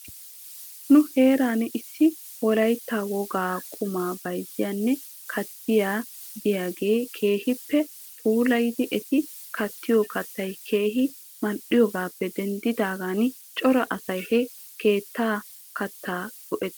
Nu heeran issi wolaytta wogaa qumaa beyzziyaa keettay diyaagee keehippe puulayidi eti kattiyoo kattay keehi mal"iyoogaappe denddidaagan cora asay he katta keettaa go'ettes.